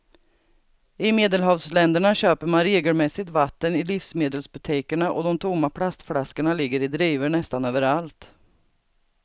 I medelhavsländerna köper man regelmässigt vatten i livsmedelsbutikerna och de tomma plastflaskorna ligger i drivor nästan överallt.